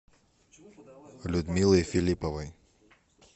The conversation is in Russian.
людмилой филипповой